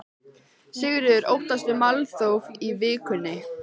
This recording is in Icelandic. Sigríður: Óttastu málþóf í vikunni?